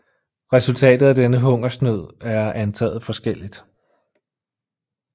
Resultatet af denne hungersnød er antaget forskelligt